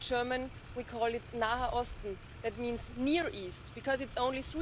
In German we call it that means Near East', because it's only